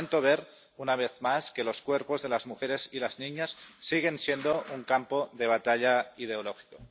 Lamento ver, una vez más, que los cuerpos de las mujeres y las niñas siguen siendo un campo de batalla ideológico.